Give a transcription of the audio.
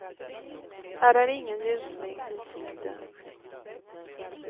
Här är ingen ljusning i sikte.